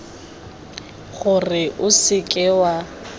gore o se ke wa